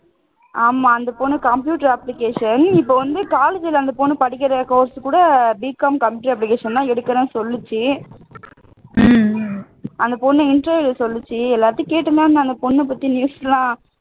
ஆமா அந்த பொண்ணு computer application இப்போ வந்து college ல அந்த பொண்ணு படிக்கிற course கூட B com computer application தான் எடுக்கிறேன்னு சொல்லிச்சு அந்தப்பொண்ணு interview ல சொல்லிச்சு எல்லாத்தையும் கேட்டுட்டு தான் இருந்தேன் அந்த பொண்ணைப்பத்தி news எல்லாம்